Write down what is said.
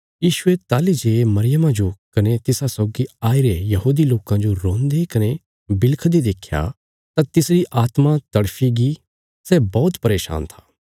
यीशुये ताहली जे मरियमा जो कने तिसा सौगी आईरे यहूदी लोकां जो रोंदे कने बिलखदे देख्या तां तिसरी आत्मा तड़फी गी सै बौहत परेशान था